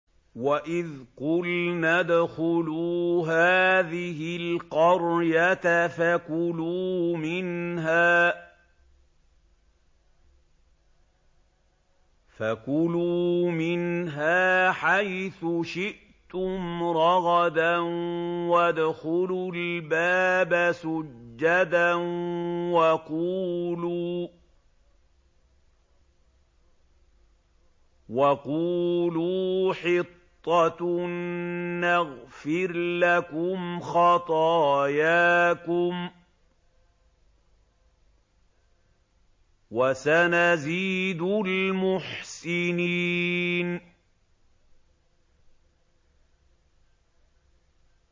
وَإِذْ قُلْنَا ادْخُلُوا هَٰذِهِ الْقَرْيَةَ فَكُلُوا مِنْهَا حَيْثُ شِئْتُمْ رَغَدًا وَادْخُلُوا الْبَابَ سُجَّدًا وَقُولُوا حِطَّةٌ نَّغْفِرْ لَكُمْ خَطَايَاكُمْ ۚ وَسَنَزِيدُ الْمُحْسِنِينَ